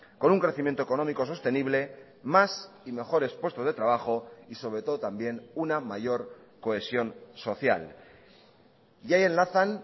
con un crecimiento económico sostenible más y mejores puestos de trabajo y sobre todo también una mayor cohesión social y ahí enlazan